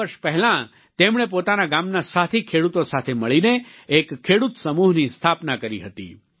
ચાર વર્ષ પહેલાં તેમણે પોતાના ગામના સાથી ખેડૂતો સાથે મળીને એક ખેડૂત સમૂહની સ્થાપના કરી હતી